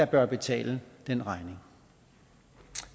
bør betale den regning